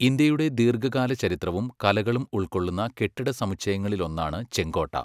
ഇന്ത്യയുടെ ദീർഘാകാല ചരിത്രവും കലകളും ഉൾകൊള്ളുന്ന കെട്ടിട സമുച്ചയങ്ങളിലൊന്നാണ് ചെങ്കോട്ട.